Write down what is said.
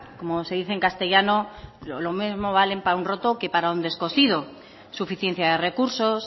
como se dice en castellano lo mismo vale para un roto que para un descosido suficiencia de recursos